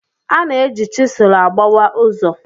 A na-eji chisel agbawa ụzọ.